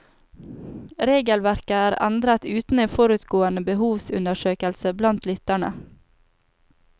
Regelverket er endret uten en forutgående behovsundersøkelse blant lytterne.